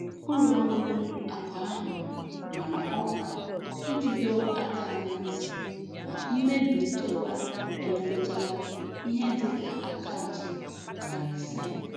Ụlọ ọrụ akụ ahụ mara ọkwa iji dọọ aka na ntị na mmebi nchekwa emetụtala ihe dị ka akaụntụ nari ise.